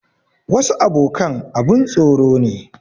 Wasu abokan abun tsoro ne.